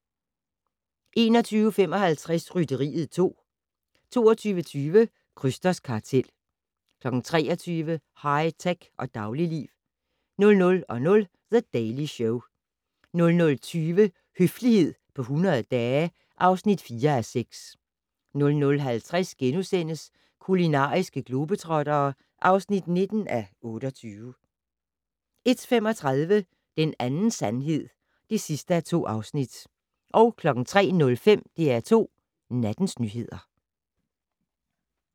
21:55: Rytteriet 2 22:20: Krysters kartel 23:00: High tech og dagligliv 00:00: The Daily Show 00:20: Høflighed på 100 dage (4:6) 00:50: Kulinariske globetrottere (19:28)* 01:35: En anden sandhed (2:2) 03:05: DR2 Nattens nyheder